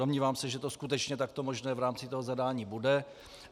Domnívám se, že to skutečně takto možné v rámci toho zadání bude.